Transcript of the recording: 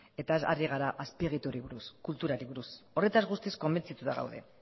eta ez ari gara azpiegiturei buruz kulturari buruz horretaz guztiz konbentzituta gaude